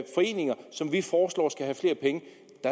foreninger som vi foreslår skal have flere penge